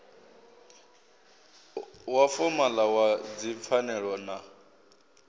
wa fomala wa dzipfanelo na